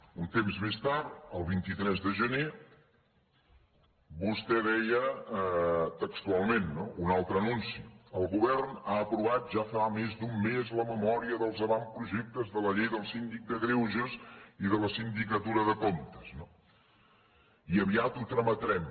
un temps més tard el vint tres de gener vostè deia textualment no un altre anunci el govern ha aprovat ja fa més d’un mes la memòria dels avantprojectes de la llei del síndic de greuges i de la sindicatura de comptes i aviat ho trametrem